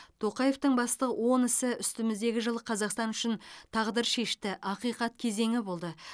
тоқаевтың басты он ісі үстіміздегі жыл қазақстан үшін тағдыр шешті ақиқат кезеңі болды